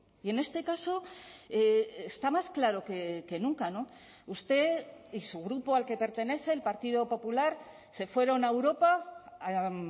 y en este caso está más claro que nunca usted y su grupo al que pertenece el partido popular se fueron a europa a